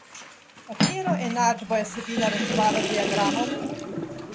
Katero enačbo je Sabina reševala z diagramom?